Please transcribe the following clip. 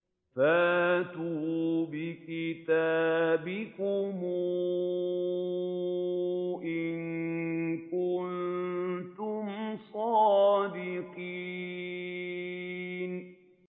فَأْتُوا بِكِتَابِكُمْ إِن كُنتُمْ صَادِقِينَ